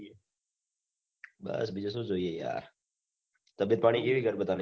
બસ બીજું શું જોઈએ યાર તબિયત પાણી કેવી ઘર બધાંની